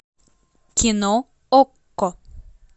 кино окко